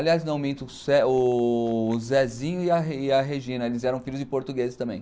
Aliás, não minto, o Zezinho e a Regina, eles eram filhos de portugueses também.